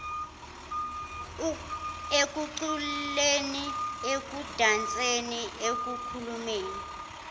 ekuculeni ekudanseni ekukhulumeni